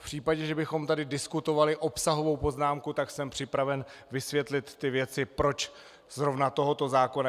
V případě, že bychom tady diskutovali obsahovou poznámku, tak jsem připraven vysvětlit ty věci, proč zrovna tohoto zákona.